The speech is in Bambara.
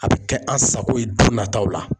A bɛ kɛ an sago ye dɔn nataw la.